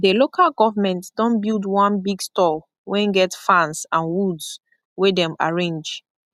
the local government don build one big store wen get fans and woods wey dem arrange